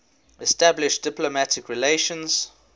establish diplomatic relations